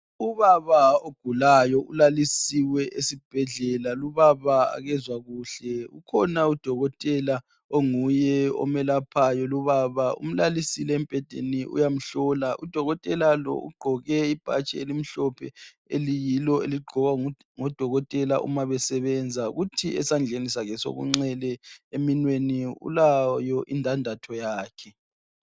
Ubaba ogulayo ulalisiwe esibhedlela ubaba lo akezwa kuhle. Kukhona udokotela onguye oyelaphayo lubaba umlalisile embhedeni uyamhlola. Udokotela lo ugqoke ibhatshi elimhlophe eliyilo eligqokwa ngodokotela uma besebenza. Kuthi esandleni ulayo indadatho yakhe.